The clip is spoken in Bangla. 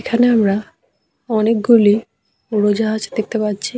এখানে আমরা অনেকগুলি উড়োজাহাজ দেখতে পাচ্ছি--